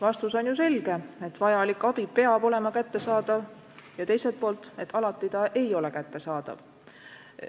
Vastus on ju selge: vajalik abi peab olema kättesaadav, aga teiselt poolt, alati see ei ole kättesaadav.